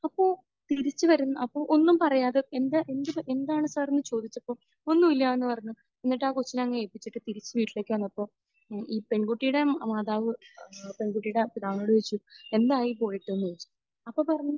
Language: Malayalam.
അപ്പോൾ തിരിച്ച് വരും അപ്പോൾ ഒന്നും പറയാതെ എന്താ എന്ത് എന്താണ് സർ എന്ന് ചോദിച്ചപ്പോൾ ഒന്നുമില്ലായെന്ന് പറഞ്ഞ്. എന്നിട്ട് ആ കൊച്ചിനെ അങ്ങ് ഏല്പിച്ചിട്ട് തിരിച്ച് വീട്ടിലേക്ക് വന്നപ്പോൾ ഈ പെൺകുട്ടിയുടെ മാതാവ് ഏഹ് പെൺകുട്ടിയുടെ പിതാവിനോട് ചോദിച്ചു, എന്തായി പോയിട്ട്? എന്ന് ചോദിച്ചു. അപ്പോൾ പറഞ്ഞു